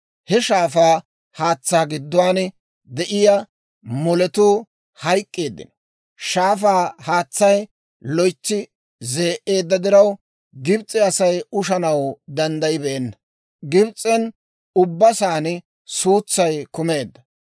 He shaafaa haatsaa gidduwaan de'iyaa moletuu hayk'k'eeddino; shaafaa haatsay loytsi zee"eedda diraw, Gibs'e Asay ushanaw danddayibeenna. Gibs'en ubba saan suutsay kumeedda.